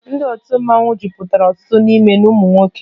Ndị otu mmọnwụ mejupụtara ọtụtụ n'ime ụmụ nwoke